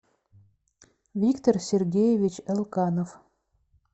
виктор сергеевич элканов